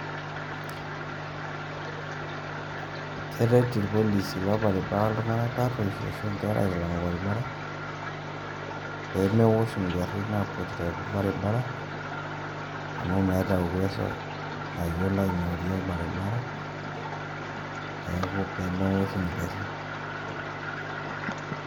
Keret irpolisi lorbaribara iltung'anak tarruoshi ashu inkera aitalang' orbaribara, pemewosh igarrin nakuetita torbaribara, amu meeta uwezo nayiolo aing'orie orbaribara, neeku pemewosh igarrin.